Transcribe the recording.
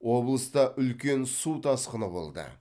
облыста үлкен су тасқыны болды